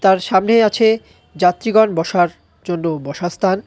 তার সামনেই আছে যাত্রীগণ বসার জন্য বসার স্থান.